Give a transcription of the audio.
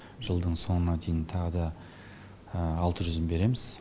жылдың соңына дейін тағы да алты жүзін береміз